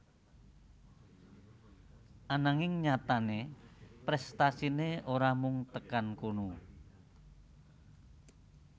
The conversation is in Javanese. Ananging nyatané prèstasiné ora mung tekan kono